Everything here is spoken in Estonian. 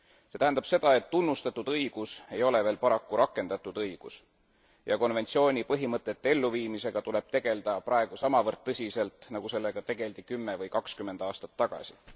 See tähendab seda, et tunnustatud õigus ei ole veel paraku rakendatud õigus ja konventsiooni põhimõtete elluviimisega tuleb tegelda praegu samavõrd tõsiselt, nagu sellega tegeldi kümme või kakskümmend aastat tagasi.